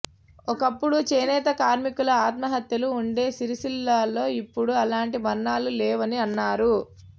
ఒకప్పుడు చేనేత కార్మికుల ఆత్మహత్యలు ఉండే సిరిసిల్లలో ఇప్పుడు అలాంటి మరణాలు లేవని అన్నారు